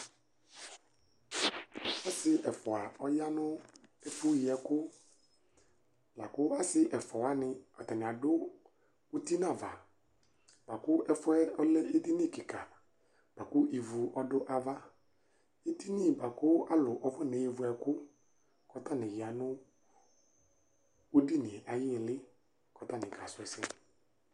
ɔsi ɛfua aya nʊ ɛfu yi ɛkʊ, asi ɛfuawani, akɔ ɔvlɛ uti nʊ ava, ɛfu yɛ lɛ edini be dɩ, kʊ ivu tʊnʊ ava, edini yɛ lɛ ɛfʊ yi ɛkʊ, atanɩ ya nʊcedini yɛ ayu ɩlɩ kakasu ɛsɛ